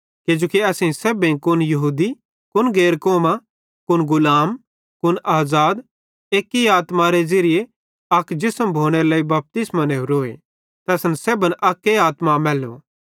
किजोकि असेईं सेब्भेईं कुन यहूदी कुन गैर कौमां कुन गुलाम कुन आज़ाद अक्के आत्मारे ज़िरिये अक जिसम भोनेरे लेइ बपतिस्मो नेवरोए ते असन सेब्भन अक्के आत्मा मैल्ली